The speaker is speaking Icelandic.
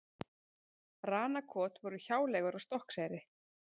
Ranakot voru hjáleigur á Stokkseyri.